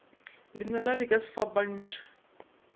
lenala di ka se fapantšhwe